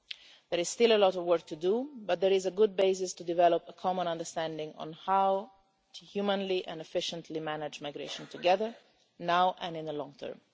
There is still a lot of work to do but there is a good basis to develop a common understanding on how to humanely and efficiently manage migration together now and in the long term.